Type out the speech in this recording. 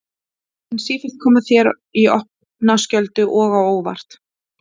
Hún mun sífellt koma þér í opna skjöldu og á óvart.